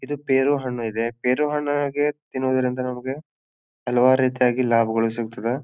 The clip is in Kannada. ಇದು ಪೆರು ಹಣ್ಣು ಇದೆ. ಪೆರು ಹಣ್ಣು ನಾಗೇ ತಿನ್ನುವುದರಿಂದ ನಮಗೆ ಹಲವಾರು ರೀತಿಯಾಗಿ ಲಾಭಗಳು ಸಿಗ್ತದೆ.